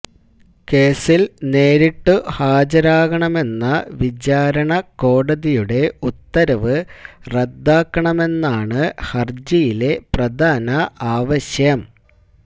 കേസില് നേരിട്ടു ഹാജരാകണമെന്ന വിചാരണക്കോടതിയുടെ ഉത്തരവ് റദ്ദാക്കണമെന്നാണു ഹര്ജിയിലെ പ്രധാന ആവശ്യം